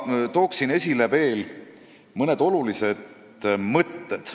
Tooksin aga esile veel mõned olulised mõtted.